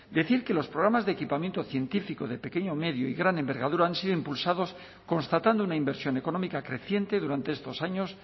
decir que los programas de equipamiento científico de pequeño medio y gran envergadura han sido impulsados constatando una inversión económica creciente durante estos años